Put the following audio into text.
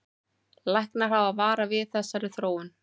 Læknar hafa varað við þessari þróun